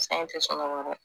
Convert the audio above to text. Sa in te sunɔgɔ dɛ